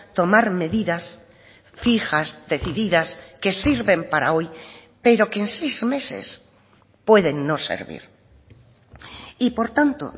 tomar medidas fijas decididas que sirven para hoy pero que en seis meses pueden no servir y por tanto